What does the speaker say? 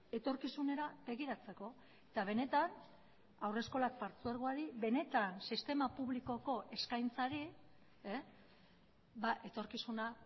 etorkizunera begiratzeko eta benetan haurreskolak partzuergoari benetan sistema publikoko eskaintzari etorkizuna